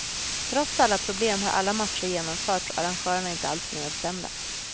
Trots alla problem har alla matcher genomförts och arrangörerna är inte allt för nedstämda.